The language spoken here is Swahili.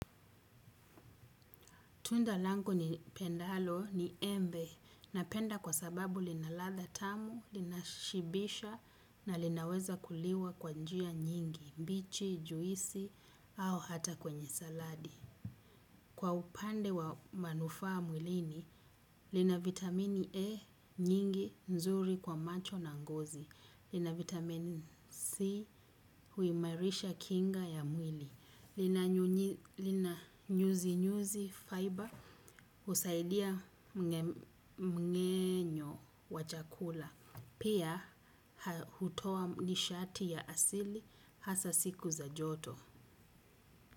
Tunda lango nilipendalo ni embe na penda kwa sababu linaladha tamu, lina shibisha na linaweza kuliwa kwa njia nyingi, bichi, juisi au hata kwenye saladi. Kwa upande wa manufaa mwilini, lina vitamini E nyingi nzuri kwa macho na ngozi, lina vitamini C huimarisha kinga ya mwili, lina nyuzi nyuzi fiber husaidia mmeng'enyo wa chakula, pia hutoa nishati ya asili hasa siku za joto.